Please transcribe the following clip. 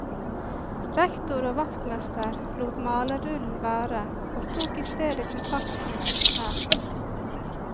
Rektor og vaktmester lot malerullen være og tok i stedet kontakt med kunstneren.